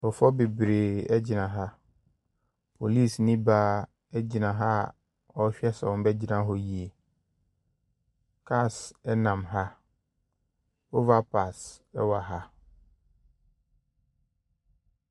Nkurɔfoɔ bebree gyina ha. Polisini baa gyina ha a ɔrehwɛ sɛ wɔbɛgyina hɔ yie. Cars nam ha. Overpass wɔ ha.